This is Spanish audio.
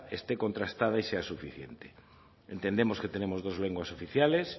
esté contrastada y sea suficiente entendemos que tenemos dos lenguas oficiales